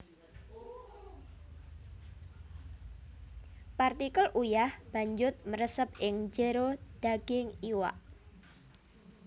Partikel uyah banjut mresep ing jero daging iwak